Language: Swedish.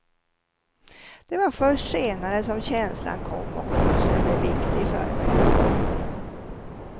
Det var först senare som känslan kom och konsten blev viktig för mig.